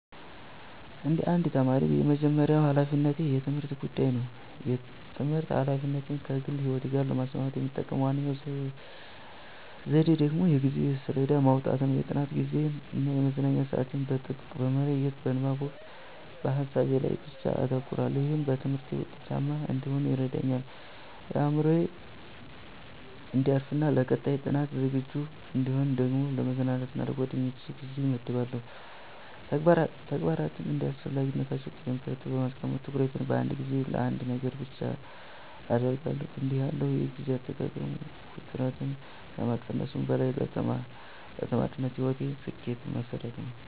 እንደ አንድ ተማሪ፣ የመጀመሪያው ሀላፊነቴ የትምህርቴ ጉዳይ ነው። የትምህርት ኃላፊነቶቼን ከግል ሕይወቴ ጋር ለማስማማት የምጠቀመው ዋናው ዘዴ ደግሞ የጊዜ ሰሌዳ ማውጣት ነው። የጥናት ጊዜዬን እና የመዝናኛ ሰዓቴን በጥብቅ በመለየት፣ በንባብ ወቅት በሀሳቤ ላይ ብቻ አተኩራለሁ። ይህም በትምህርቴ ውጤታማ እንድሆን ይረዳኛል። አእምሮዬ እንዲያርፍና ለቀጣይ ጥናት ዝግጁ እንድሆን ደግሞ ለመዝናናት እና ለጓደኞቼ ጊዜ እመድባለሁ። ተግባራትን እንደ አስፈላጊነታቸው ቅደም ተከተል በማስቀመጥ፣ ትኩረቴን በአንድ ጊዜ በአንድ ነገር ላይ ብቻ አደርጋለሁ። እንዲህ ያለው የጊዜ አጠቃቀም ውጥረትን ከመቀነሱም በላይ ለተማሪነት ሕይወቴ ስኬት መሠረት ነው።